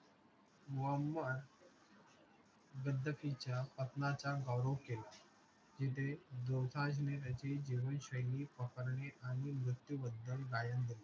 मोहम्मद गद्दाफीच्या पतनाचा गौरव केला जिथे दोसांझने त्याची जीवनशैली पकडली आणि मृत्यूबद्दल गायन केले